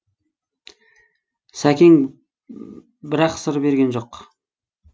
сәкең бірақ сыр берген жоқ